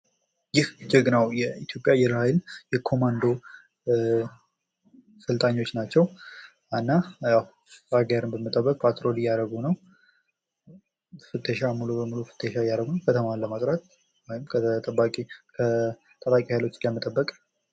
ይህ ጀግናው የኢትዮጵያ አየር ሀይል የኮማንዶ ሰልጣኞች ናቸው። እና ሀገርን በመጠበቅ ፓትሮል እያደረጉ ነው። ሙሉ በሙሉ ፍተሻ እያደረጉ ነው። ከተማውን ለማጥራት ከታጣቂ ሀይሎች ለመጠበቅ